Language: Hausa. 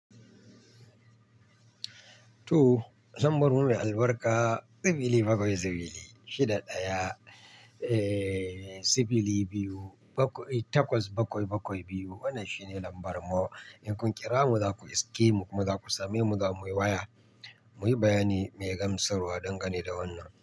To, lambar mu mai albarka, sifili bakwai sifili shida ɗaya, eh sifili biyu bakwai takwas bakwai bakwai biyu. Wannan shine lambar mu. In kun kira mu za ku iske mu kuma za ku same mu, za mu yi waya. Muyi bayani mai gamsarwa dangane da wannan.